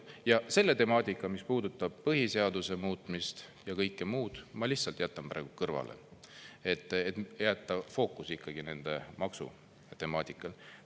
Ja selle temaatika, mis puudutab põhiseaduse muutmist ja kõike muud, ma lihtsalt jätan praegu kõrvale, et jätta fookus ikkagi nende maksude temaatikale.